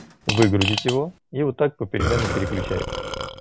выгрузить его и вот так попеременно переключаясь